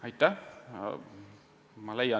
Aitäh!